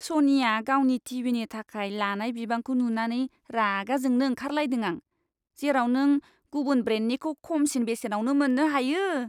सनिया गावनि टि.भि.नि थाखाय लानाय बिबांखौ नुनानै रागा जोंनो ओंखारलायदों आं जेराव नों गुबुन ब्रेन्डनिखौ खमसिन बेसेनावनो मोन्नो हायो।